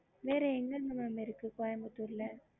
ஒன்னு புது